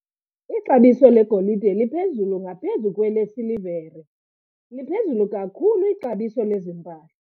Ixabiso legolide liphezulu ngaphezu kwelesilivere. liphezulu kakhulu ixabiso lezi mpahla